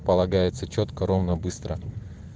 полагается чётко ровно быстро